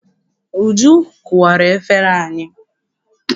Uju kụwara efere anyị.